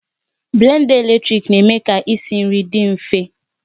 Blenda eletrik na-eme ka isi nri dị mfe